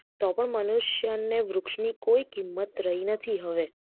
તો પણ મનુષ્ય ને વૃક્ષ ની કોઈ કિંમત રહી નથી હવે